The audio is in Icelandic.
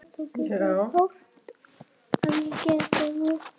Ég er hugsi yfir þessu.